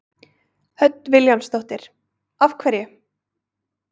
Hödd Vilhjálmsdóttir: Af hverju?